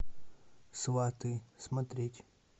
сваты смотреть